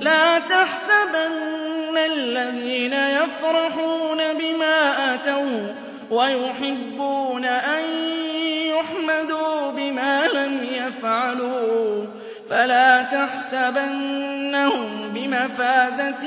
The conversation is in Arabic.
لَا تَحْسَبَنَّ الَّذِينَ يَفْرَحُونَ بِمَا أَتَوا وَّيُحِبُّونَ أَن يُحْمَدُوا بِمَا لَمْ يَفْعَلُوا فَلَا تَحْسَبَنَّهُم بِمَفَازَةٍ